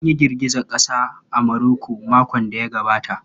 An yi girgizar ƙasa a Maroko makon da ya gabata.